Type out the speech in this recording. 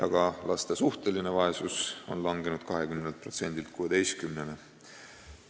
Ka laste suhteline vaesus oli langenud 20%-lt 16%-le.